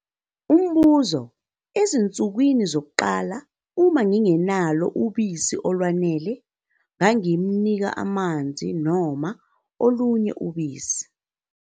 Umbuzo- Ezinsukwini zokuqala, uma ngingenalo ubisi olwanele, ngingamnika amanzi noma olunye ubisi?